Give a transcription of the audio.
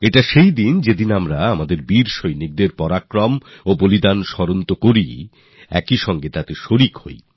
এইদিনে আমরা আমাদের বীর সৈনিকদের তাদের পরাক্রমকে তাদের আত্মবলিদানকে স্মরণ তো করিই আর স্মরণে অংশ নিই